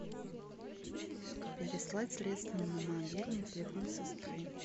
переслать средства на мобильный телефон сестры